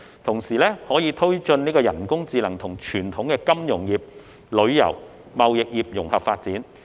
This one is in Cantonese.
同時，可推進人工智能與傳統金融業、旅遊、貿易業融合發展。